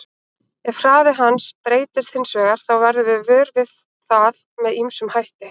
Ef hraði hans breytist hins vegar þá verðum við vör við það með ýmsum hætti.